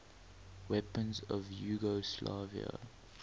weapons of yugoslavia